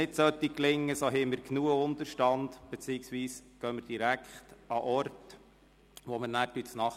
Sollte das nicht gelingen, haben wir genug Unterstand, beziehungsweise gehen wir direkt an den Ort, wo wir nachher nachtessen.